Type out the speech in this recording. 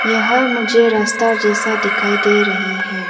यह मुझे रस्ता जैसा दिखाई दे रही है।